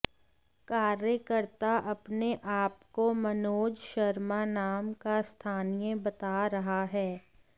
कार्यकर्ता अपने आपको मनोज शर्मा नाम का स्थानीय बता रहा है